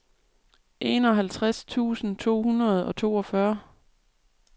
enoghalvtreds tusind to hundrede og toogfyrre